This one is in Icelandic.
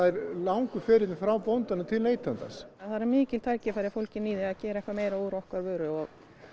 langur ferill er frá bónda til neytandans það eru mikil tækifæri fólgin í því að gera eitthvað meira úr okkar vöru og